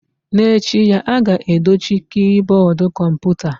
N'echi ya, a ga-edochi kiiboodu kọmputa.